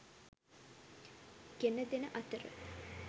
ගෙනදෙන අතර